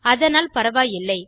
அதனால் பரவாயில்லை